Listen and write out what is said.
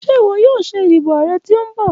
Ṣe iwọ yoo ṣe idibo aarẹ ti nbọ?